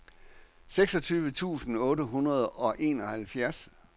syvogtyve tusind otte hundrede og enoghalvfjerds